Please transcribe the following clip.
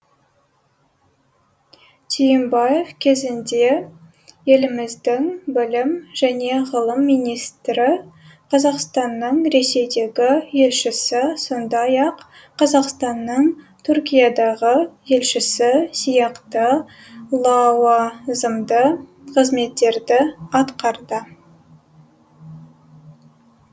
түйімбаев кезінде еліміздің білім және ғылым министрі қазақстанның ресейдегі елшісі сондай ақ қазақстанның түркиядағы елшісі сияқты лауазымды қызметтерді атқарды